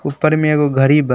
ऊपर में एगो घरी बा।